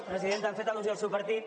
presidenta hem fet al·lusió al seu partit